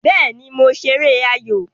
Béè ni mo ṣeré ayò